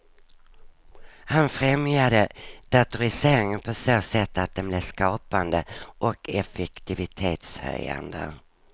Han främjade datoriseringen på så sätt att den blev skapande och effektivitetshöjande.